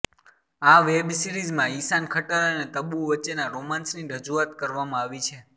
આ વેબ સિરીઝમાં ઇશાન ખટ્ટર અને તબ્બુ વચ્ચેના રોમાન્સની રજૂઆત કરવામાં આવી છે